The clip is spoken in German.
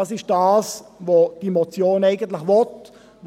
Das ist, was diese Motion eigentlich will,